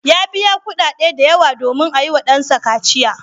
Ya biya kuɗaɗe masu yawa domin a yiwa ɗansa kaciya.